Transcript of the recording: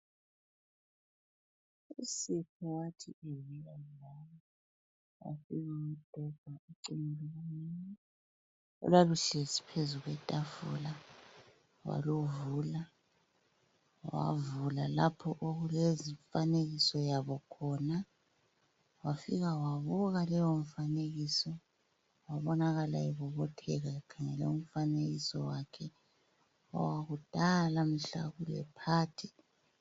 Olwaluhlezi phezu kwetafula, wavula lapho okulezifanekiso khona wafika wabuka leyo mifanekiso wabonakala ebobotheka ekhangele umfanekiso wakhe owakudala mhla kulephathi.